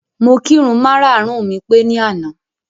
Mo kirun mara-àrùn mi pé ní àná.